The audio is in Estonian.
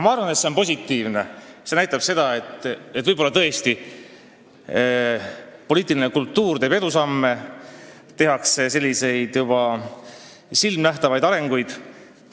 Ma arvan, et see on positiivne – see näitab, et võib-olla tõesti poliitiline kultuur teeb edusamme, tehakse silmanähtavaid arenguid.